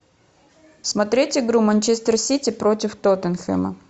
смотреть игру манчестер сити против тоттенхэма